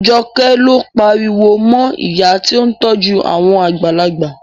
Joke ló pariwo mọ ìyá tí ó ń tọ́jú àwọn àgbàlagbà